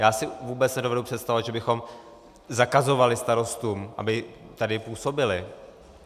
Já si vůbec nedovedu představit, že bychom zakazovali starostům, aby tady působili.